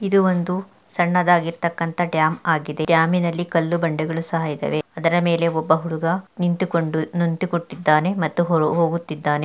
ಇದು ಒಂದು ಸಣ್ಣದಾಗಿ ಇರತ್ತಕಂತ ಡ್ಯಾಮ್ ಆಗಿದೆ ಡ್ಯಾಮಿ ನಲ್ಲಿ ಕಲ್ಲು ಬಂಡೆಗಳು ಸಹ ಇದಾವೆ ಅದರ ಮೇಲೆ ಒಬ್ಬ ಹುಡುಗ ನಿಂತುಕೊಂಡು ನಿಂತು ಕೊಟ್ಟಿದ್ದಾನೆ ಮತ್ತು ಹೊ ಹೋಗುತ್ತಿದ್ದಾನೆ.